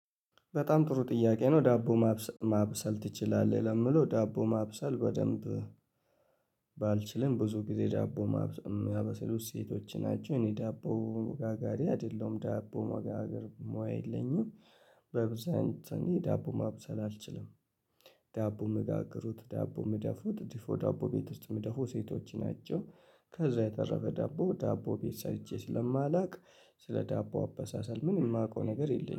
በጣም ጥሩ ጥያቄ ነው ዳቦ ማብሰል ማብሰል ትችላለህ? ለምለው ዳቦ ማብሰል በደንብ ባልችልም ብዙ ጊዜ ዳቦ የሚያበሱሉ ሴቶች ናቸው እኔ ዳቦ ጋጋሪ አይደለሁም ዳቦ መጋገር ሙያ የለኝም በብዛን ዳቦ ማብሰል አልችልም ዳቦ ምጋግሩት ዳቦ ምደፉት ዲፎ ዳቦ ቤት ውስጥ ምደፉ ሴቶች ናቸው ከዛ የተረፈ ዳቦ ዳቦ ቤት ሰርቼ ስለማላቅ ስለ ዳቦ አበሳሰል ምንም የማውቀው ነገር የለኝም